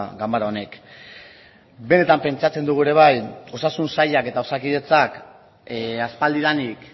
ganbara honek benetan pentsatzen dugu ere bai osasun sailak eta osakidetzak aspaldidanik